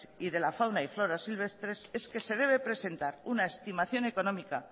y de la fauna y flora silvestres es que se debe presentar una estimación económica